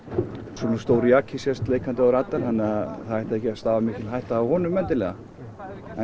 svona stór jaki sést leikandi á radar þannig að það ætti ekki að stafa hætta af honum endilega en